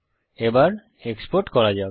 এবার এক্সপোর্ট করা যাক